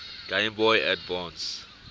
game boy advance